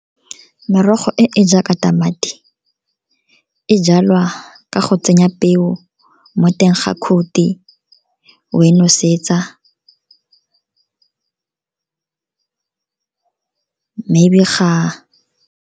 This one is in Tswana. Merogo e e jaaka tamati, e jalwa ka go tsenya peo mo teng ga khuthi, we nosetsa, maybe ga.